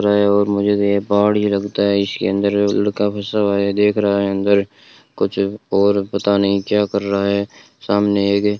और मुझे ये पहाड़ ही लगता है इसके अंदर लड़का फसा हुआ है देख रहा है अंदर कुछ और पता नहीं क्या कर रहा है सामने एक --